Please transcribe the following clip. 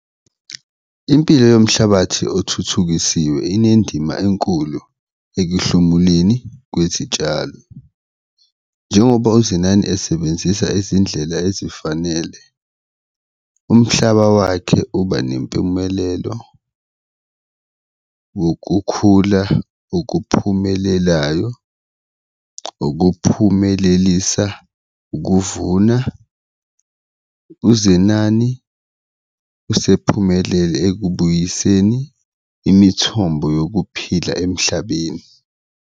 Impilo yomhlabathi okuthuthukisiwe inendima enkulu ekuhlomuleni kwezitshalo njengoba uZenani esebenzisa izindlela ezifanele umhlaba wakhe uba nempumelelo wokukhula okuphumelelayo, okuphumelelisa ukuvuna. UZenani usephumelele ekubuyiseni imithombo yokuphila emhlabeni.